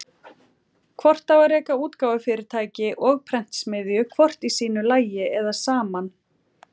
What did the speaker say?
Hvort á að reka útgáfufyrirtæki og prentsmiðju hvort í sínu lagi eða saman?